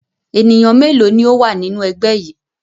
Ènìyàn mélòó ni ó wà nínú ẹgbẹ́ yìí?